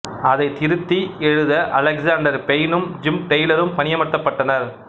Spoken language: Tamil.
அதைத் திருத்தி எழுத அலெக்ஸாண்டர் பெய்னும் ஜிம் டெய்லரும் பணியமர்த்தப்பட்டனர்